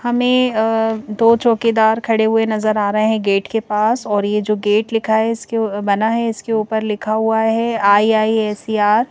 हमें अ दो चौकीदार खड़े हुए नज़र आ रहे हैं गेट के पास और ये जो गेट लिखा है इसके बना है इसके ऊपर लिखा हुआ है आई_आई_एस_इ_आर ।